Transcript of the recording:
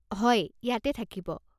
হয়, ইয়াতে থাকিব।